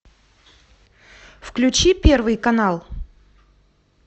включи первый канал